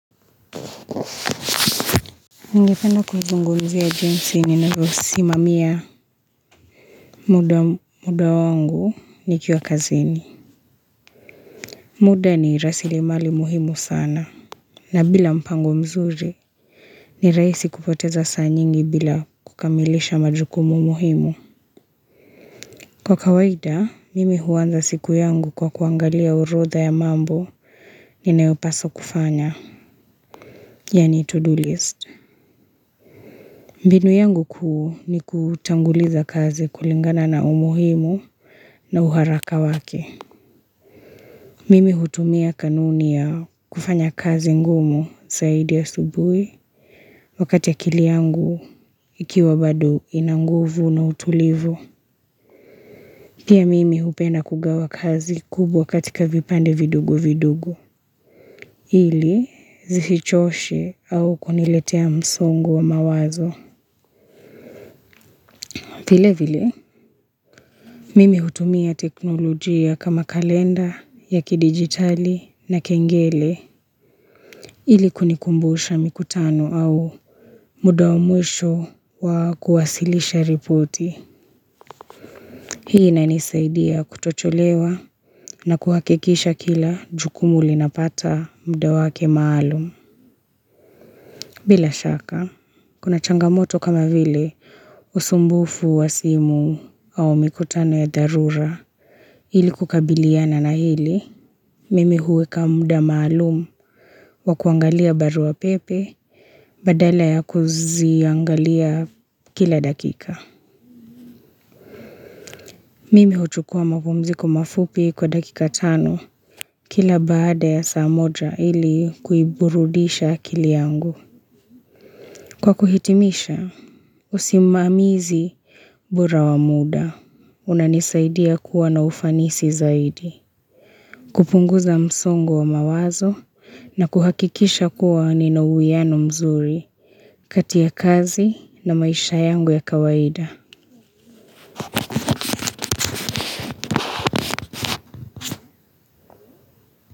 Ningependa kuzungumzia jinsi ninavyosimamia muda wangu nikiwa kazini muda ni rasilimali muhimu sana na bila mpango mzuri ni rahisi kupoteza saa nyingi bila kukamilisha majukumu muhimu Kwa kawaida mimi huanza siku yangu kwa kuangalia orodha ya mambo ninayopaswa kufanya yani to-do list mbinu yangu kuu ni kutanguliza kazi kulingana na umuhimu na uharaka wake. Mimi hutumia kanuni ya kufanya kazi ngumu zaidi asubuhi wakati akili yangu ikiwa bado ina nguvu na utulivu. Pia mimi hupenda kugawa kazi kubwa katika vipande vidogo vidogo. Ili zisichoshe au kuniletea msongo wa mawazo. Vile vile, mimi hutumia teknolojia kama kalenda ya kidigitali na kengele ili kunikumbusha mikutano au muda wa mwisho wa kuwasilisha ripoti. Hii inanisaidia kutochelewa na kuhakikisha kila jukumu linapata muda wake maalum. Bila shaka, kuna changamoto kama vile usumbufu wa simu au mikutano ya dharura ili kukabiliana na hili, mimi huweka muda malumu wa kuangalia barua pepe badala ya kuziangalia kila dakika. Mimi huchukua mapumziko mafupi kwa dakika tano kila baada ya saa moja ili kuiburudisha akili yangu. Kwa kuhitimisha, usimamizi bira wa muda, unanisaidia kuwa na ufanisi zaidi. Kupunguza msongo wa mawazo na kuhakikisha kuwa nina uwiano mzuri kati ya kazi na maisha yangu ya kawaida.